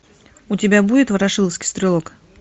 у тебя будет ворошиловский стрелок